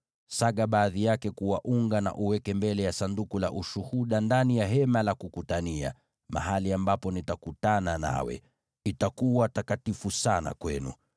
Saga baadhi yake kuwa unga na uweke mbele ya Sanduku la Ushuhuda ndani ya Hema la Kukutania, mahali ambapo nitakutana nawe. Itakuwa takatifu sana kwenu.